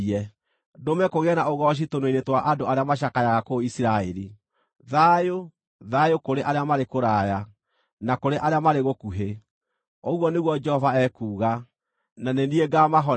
ndũme kũgĩe na ũgooci tũnua-inĩ twa andũ arĩa macakayaga kũu Isiraeli. Thayũ, thayũ kũrĩ arĩa marĩ kũraya, na kũrĩ arĩa marĩ gũkuhĩ,” ũguo nĩguo Jehova ekuuga. “Na nĩ niĩ ngaamahonia.”